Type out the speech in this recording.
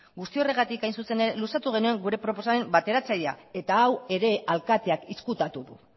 guzti horregatik hain zuzen ere luzatu genion gure proposamen bateratzailea eta hau ere alkateak ezkutatu du